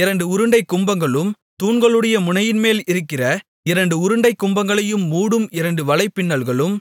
இரண்டு உருண்டைக் கும்பங்களும் தூண்களுடைய முனையின்மேல் இருக்கிற இரண்டு உருண்டைக் கும்பங்களை மூடும் இரண்டு வலைப் பின்னல்களும்